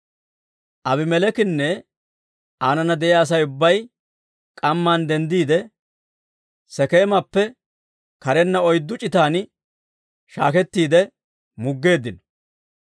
Aabimeleekinne aanana de'iyaa Asay ubbay k'amman denddiide, Sekeemappe karenna oyddu c'itan shaakettiide muggeeddino.